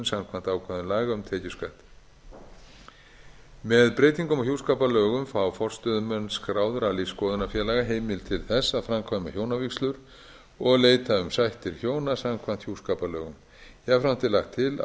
samkvæmt ákvæðum laga um tekjuskatt með breytingum á hjúskaparlögum fá forstöðumenn skráðra lífsskoðunarfélaga heimild til þess að framkvæma hjónavígslur og leita um sættir hjóna samkvæmt hjúskaparlögum jafnframt er lagt til